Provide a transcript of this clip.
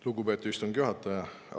Lugupeetud istungi juhataja!